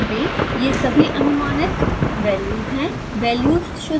ध्यान दें ये सभी अनुमानित वैल्यूज़ है